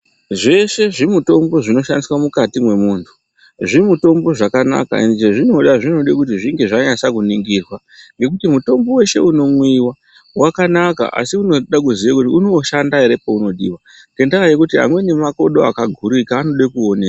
Zveshe zvimutombo zvinoshandiswe mukati mwemuntu ,zvimutombo zvakanaka njee zvinoda zvinode kuti zvinge zvanaso kuningirwa ngekuti mutombo weshe unomwiwa wakanaka asi unoda kuziye kuti unoshanda ere paunodiwa, ngendaa yekuti amweni makodo akagurika anode kuonekwa.